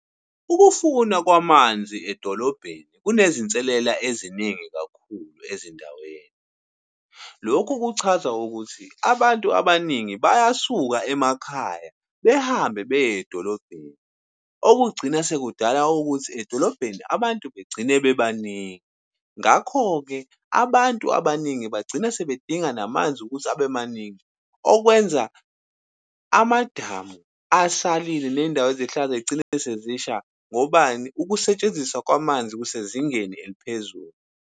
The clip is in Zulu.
Ukufuna kwamanzi edolobheni kunezinselela eziningi kakhulu ezindaweni. Lokhu kuchaza ukuthi abantu abaningi bayasuka emakhaya, behambe beye edolobheni. Okugcina sekudala ukuthi edolobheni abantu begcine bebaningi. Ngakho-ke abantu abaningi bagcina sebedinga namanzi ukuthi abe maningi, okwenza amadamu asalile ney'ndawo zigcina sezisha, ngobani? Ukusetshenziswa kwamanzi kusezingeni eliphezulu.